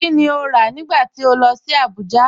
Kíni o rá nígbà tí o lọ sí Àbújà?